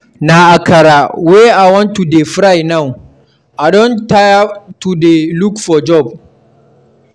Na akara wey I wan to dey fry now, I don tire to dey look for job.